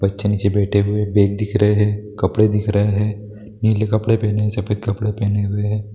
बच्चे नीचे बैठे हुए बैग दिख रहें हैं कपड़े दिख रहें है नीले कपड़े पहने हुए सफेद कपड़े पहने हुए है।